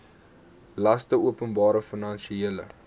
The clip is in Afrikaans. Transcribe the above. laste openbare finansiële